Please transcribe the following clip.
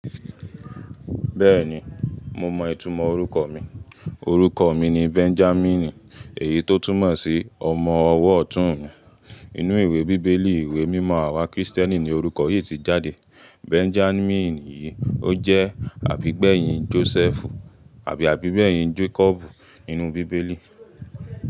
Bẹ́ẹ̀ni, mo mọ ìtumọ̀ orúkọ mi. Orúkọ mi ni Benjamin, èyí tó túmọ̀ sí ọmọ ọwọ́ ọ̀tún. Inú ìwé bíbélì, ìwé mímọ àwa Kristẹni ni orúkọ yìí ti jáde. Benjamin yìí, ó jẹ́ àbígbẹ̀yìn Joseph, àbí àbígbẹ̀yìn Jacob nínú bíbélì.